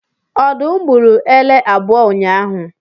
Ọdụm gburu ele abụọ ụnyahụ